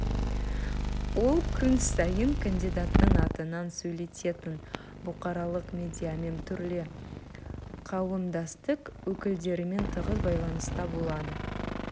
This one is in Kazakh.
ол күн сайын кандидаттың атынан сөйлейтін бұқаралық медиамен түрлі қауымдастық өкілдерімен тығыз байланыста болды